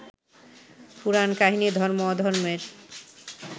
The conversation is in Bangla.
পুরাণকাহিনী ধর্ম-অধর্মের